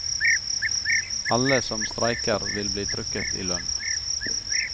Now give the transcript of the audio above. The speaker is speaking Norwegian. Alle som streiker vil bli trukket i lønn.